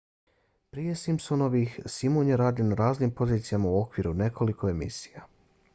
prije simpsonovih simon je radio na raznim pozicijama u okviru nekoliko emisija